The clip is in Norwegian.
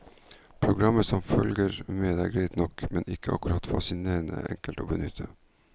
Programmet som følger med er greit nok, men ikke akkurat fascinerende enkelt å benytte.